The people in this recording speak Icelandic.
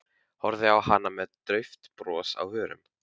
Horfði á hana með dauft bros á vörunum.